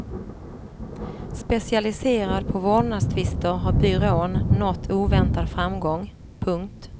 Specialiserad på vårdnadstvister har byrån nått oväntad framgång. punkt